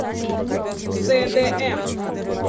цдм